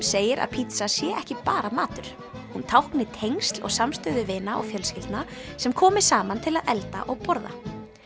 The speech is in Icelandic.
segir að pítsa sé ekki bara matur hún tákni tengsl og samstöðu vina og fjölskyldna sem komi saman til að elda og borða